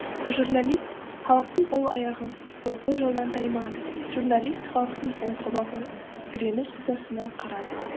журналист халықтың ол аяғы ойқы жолдан таймады журналист халықтың ол қабағы реніш ызасына қарады